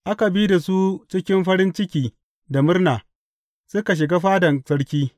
Aka bi da su cikin farin ciki da murna; suka shiga fadan sarki.